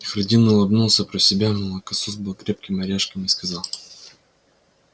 хардин улыбнулся про себя молокосос был крепким орешком и сказал